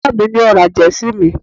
baba mi ni o ra Jersey mi